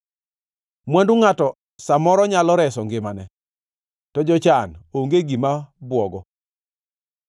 Mwandu ngʼato sa moro nyalo reso ngimane, to jochan onge gima bwogo.